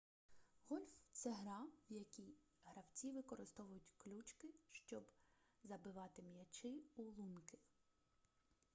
гольф це гра в якій гравці використовують ключки щоби забивати м'ячі у лунки